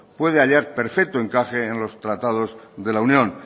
puede hallar perfecto encaje en los tratados de la unión